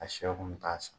A sɛw kun bɛ taa san